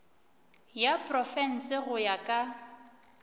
ya profense go ya ka